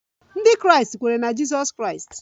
Ndị Kraịst kweere na Jizọs Kraịst